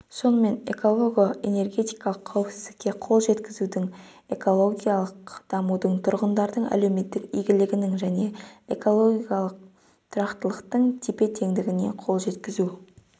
сонымен эколого-энергетикалық қауіпсіздікке қол жеткізу экологиялық дамудың тұрғындардың әлеуметтік игілігінің және экологиялық тұрақтылықтың тепе-теңдігіне қол жеткізу